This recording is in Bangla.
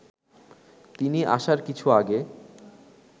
তিনি আসার কিছু আগে